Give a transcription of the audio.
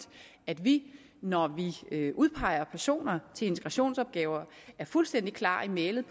at vi når vi udpeger personer til integrationsopgaver er fuldstændig klar i mælet